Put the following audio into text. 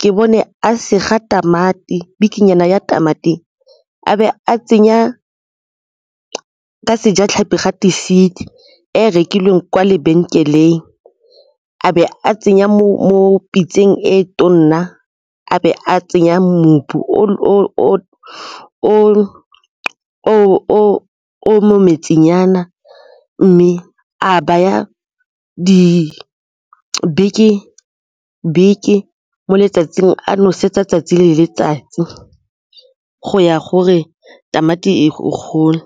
ke bone a sega tamati bikinyana ya tamati, a be a tsenya ka Sejatlhapi gate seed e rekilweng kwa lebenkeleng a be a tsenya mo pitseng e tona a be a tsenya o mo metsinyana mme a baya di mo letsatsing a nosetsa 'tsatsi le letsatsi go ya gore tamati e gole.